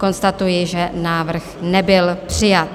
Konstatuji, že návrh nebyl přijat.